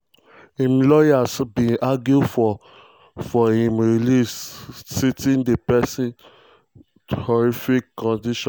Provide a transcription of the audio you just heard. im lawyers bin argue for for im release citing di prison “horrific” conditions.